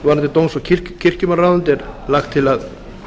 varðandi dóms og kirkjumálaráðuneytið er lagt til að